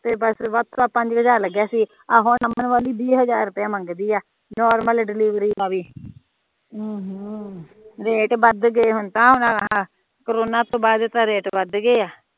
ਆ ਹੁਣ ਅਮਨ ਵਾਲੀ ਵੀਂ ਹਜ਼ਾਰ ਪੇਆ ਮੰਗਦੀ ਆ ਨੌਰਮਲ ਡਲੀਵਰੀ ਦਾ ਵੀ ਰੇਟ ਵੱਧ ਗਏ ਹੁਣ ਤਾ ਕਰੋਨਾ ਤੋਂ ਬਾਦ ਤਾ ਰੇਟ ਵੱਧ ਗਏ ਆ